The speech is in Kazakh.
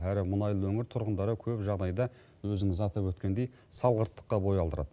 әрі мұнайлы өңір тұрғындары көп жағдайда өзіңіз атап өткендей салғырттыққа бой алдырады